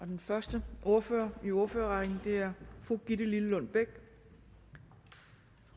den første ordfører i ordførerrækken er fru gitte lillelund bech